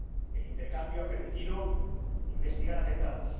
El intercambio ha permitido investigar atentados.